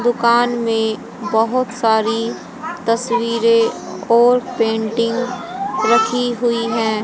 दुकान में बहुत सारी तस्वीरें और पेंटिंग रखी हुई हैं।